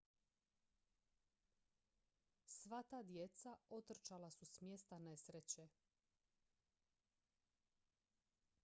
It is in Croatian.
sva ta djeca otrčala su s mjesta nesreće